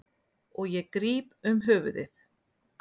Og ég gríp um höfuðið.